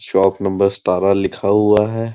Shop number सितारा लिखा हुआ है।